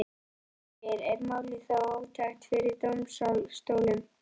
Magnús Geir: Er málið þá ótækt fyrir dómsstólum?